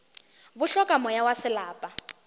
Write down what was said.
bo hloka moya wa selapa